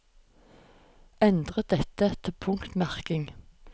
Endre dette til punktmerking